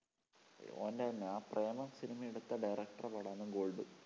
ഓൻറെ തന്നെ ആ പ്രേമം സിനിമ എടുത്ത director ടെ പടമാണ് gold.